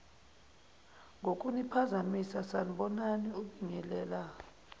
ngokuniphazamisa sanibonani ubingelela